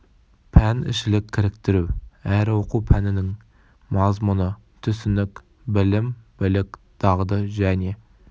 пәнішілік кіріктіру әр оқу пәнінің мазмұны түсінік білім білік дағды және